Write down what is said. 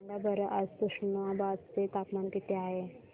सांगा बरं आज तुष्णाबाद चे तापमान किती आहे